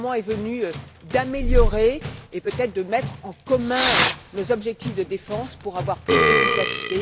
Le moment est venu d'améliorer et peut être de mettre en commun nos objectifs de défense pour avoir plus d'efficacité.